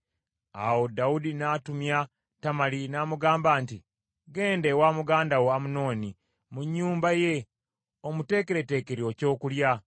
Awo Dawudi n’atumya Tamali n’amugamba nti, “Genda ewa muganda wo Amunoni mu nnyumba ye, omuteekereteekere ekyokulya.”